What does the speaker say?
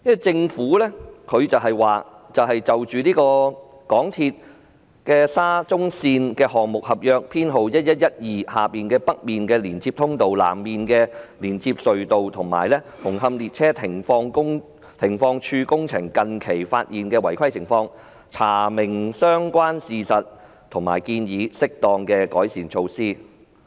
政府表示："就香港鐵路有限公司沙田至中環線項目合約編號1112下的北面連接隧道、南面連接隧道及紅磡列車停放處工程近期發現的違規情況，查明相關事實和建議適當的改善措施"。